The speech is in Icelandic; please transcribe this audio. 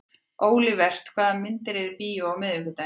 Olivert, hvaða myndir eru í bíó á miðvikudaginn?